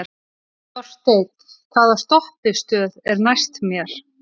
Þorsteinn, hvaða stoppistöð er næst mér?